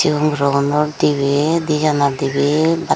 chigon gurogunor dibey dijonor dibey baat.